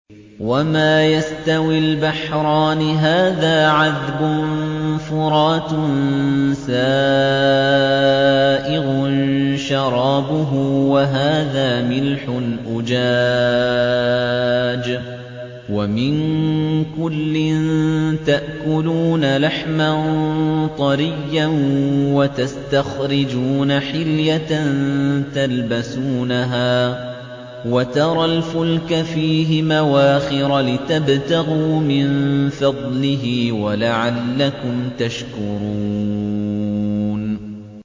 وَمَا يَسْتَوِي الْبَحْرَانِ هَٰذَا عَذْبٌ فُرَاتٌ سَائِغٌ شَرَابُهُ وَهَٰذَا مِلْحٌ أُجَاجٌ ۖ وَمِن كُلٍّ تَأْكُلُونَ لَحْمًا طَرِيًّا وَتَسْتَخْرِجُونَ حِلْيَةً تَلْبَسُونَهَا ۖ وَتَرَى الْفُلْكَ فِيهِ مَوَاخِرَ لِتَبْتَغُوا مِن فَضْلِهِ وَلَعَلَّكُمْ تَشْكُرُونَ